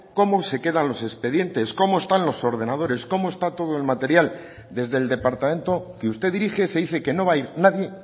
cómo se quedan los expedientes cómo están los ordenadores cómo está todo el material desde el departamento que usted dirige se dice que no va a ir nadie